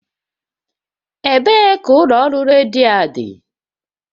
Ebee ka ụlọ ọrụ redio a dị?